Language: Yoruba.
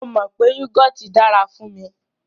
Mó mọ wípé yúgọọ́ti dára fún mí.